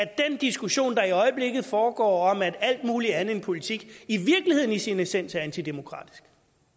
diskussion der i øjeblikket foregår om at alt muligt andet end politik i virkeligheden i sin essens er antidemokratisk